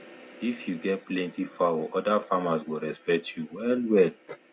if you get plenty fowl other farmers go respect you wellwell